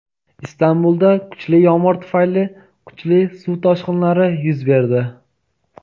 Istanbulda kuchli yomg‘ir tufayli kuchli suv toshqinlari yuz berdi.